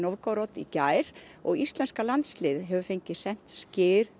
í gær og íslenska landsliðið hefur fengið sent skyr